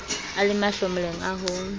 a le mahlomoleng a ho